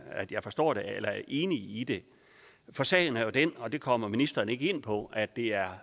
at jeg forstår det eller er enig i det for sagen er jo den og det kom ministeren ikke ind på at det er